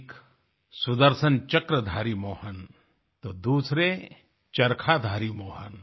एक सुदर्शन चक्रधारी मोहन तो दूसरे चरखाधारी मोहन